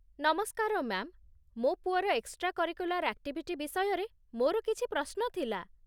ନମସ୍କାର, ମା'ମ୍, ମୋ ପୁଅର ଏକ୍‌ଷ୍ଟ୍ରା କରିକୁଲାର ଆକ୍ଟିଭିଟି ବିଷୟରେ ମୋର କିଛି ପ୍ରଶ୍ନ ଥିଲା।